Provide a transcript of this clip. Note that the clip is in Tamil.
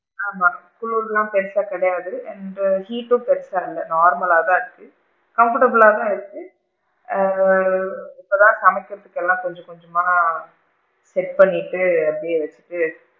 ஆமா குளிர்லா பெருசா கிடையாது, and heat டும் பெருசா இல்ல, normal லா தான் இருக்கு, comfortable லா தன இருக்கு, ஆ இப்ப தான் சமைக்கிறதுக்கு எல்லாம் கொஞ்ச கொஞ்சமா set பண்ணிட்டு அப்படியே வச்சு,